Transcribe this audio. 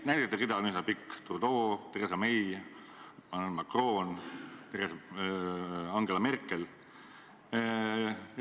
Näidete rida on üsna pikk: Trudeau, Theresa May, Emmanuel Macron, Angela Merkel.